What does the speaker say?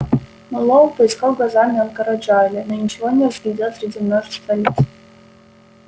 мэллоу поискал глазами анкора джаэля но ничего не разглядел среди множества лиц